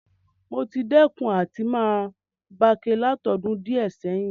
Mo ti dẹ́kun àti ma bake látodún díẹ̀ sẹ̀hin